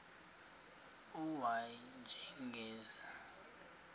u y njengesiwezi